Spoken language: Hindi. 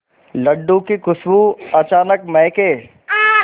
लड्डू की खुशबू अचानक महके